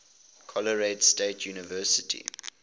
colorado state university